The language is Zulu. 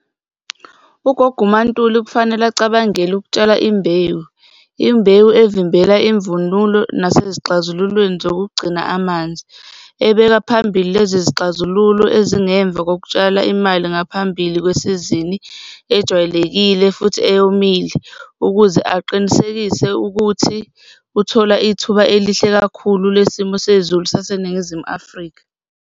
Ugogo uMaNtuli kufanele acabangele ukutshala imbewu, imbewu evimbela imvunulo nasezixazululweni zokugcina amanzi, ebeka phambili lezi izixazululo ezingemva kokutshala imali ngaphambili kwesizini ejwayelekile futhi eyomile ukuze aqinisekise ukuthi uthola ithuba elihle kakhulu lesimo sezulu saseNingizimu Afrika.